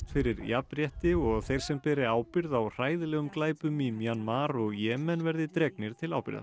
fyrir jafnrétti og að þeir sem beri ábyrgð á hræðilegum glæpum í Mjanmar og Jemen verði dregnir til ábyrgðar